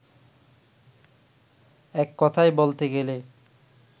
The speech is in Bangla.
এক কথায় বলতে গেলে